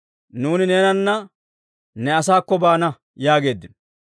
«Nuuni neenanna ne asaakko baana» yaageeddino.